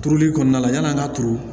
Turuli kɔnɔna na yani an ka turu